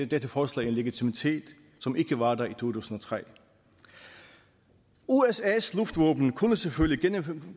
dette forslag en legitimitet som ikke var der i to tusind og tre usas luftvåben kunne selvfølgelig gennemføre